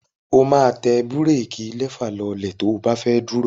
O máa tẹ búréékí lẹfà lọlẹ̀ tí o bá fẹ́ dúró.